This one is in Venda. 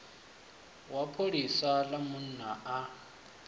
wa pholisa ḽa munna a